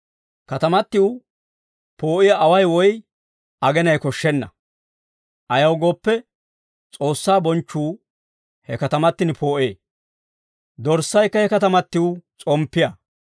Katamatiw poo'iyaa away woy agenay koshshenna. Ayaw gooppe, S'oossaa bonchchuu he katamatin poo'ee; Dorssaykka he katamatiw s'omppiyaa.